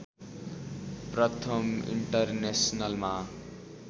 प्रथम इन्टरनेसनलमा